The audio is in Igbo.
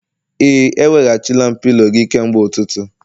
Ee, eweghachila m pilo gị kemgbe ụtụtụ